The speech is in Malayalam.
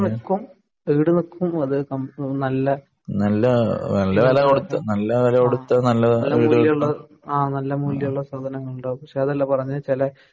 ഈടുനിക്കും ഈടുനിക്കും അതെ നല്ല ആ നല്ല സാധനങ്ങളുണ്ട് പക്ഷെ അതല്ല പറഞ്ഞെ ചെല